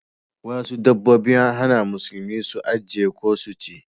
Wasu dabbobi an hana musulmi su ajiye ko su ci.